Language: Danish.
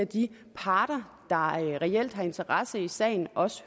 de parter der reelt har interesse i sagen også